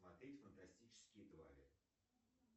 смотреть фантастические твари